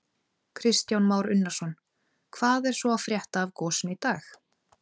Kristján Már Unnarsson: Hvað er svo að frétta af gosinu í dag?